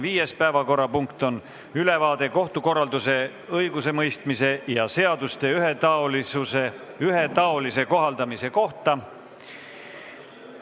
Viies päevakorrapunkt on ülevaade kohtukorralduse, õigusemõistmise ja seaduste ühetaolise kohaldamise kohta.